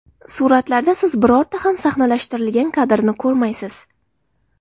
Suratlarda siz birorta ham sahnalashtirilgan kadrni ko‘rmaysiz.